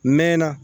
Mɛ na